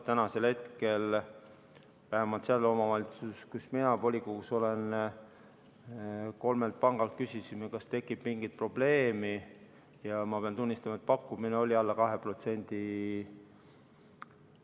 Tänasel hetkel vähemalt seal omavalitsuses, kus mina volikogus olen, küsisime kolmelt pangalt, kas tekib mingit probleemi, ja ma pean tunnistama, et pakkumine oli alla 2%.